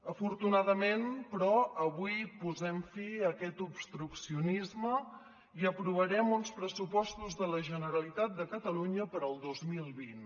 afortunadament però avui posem fi a aquest obstruccionisme i aprovarem uns pressupostos de la generalitat de catalunya per al dos mil vint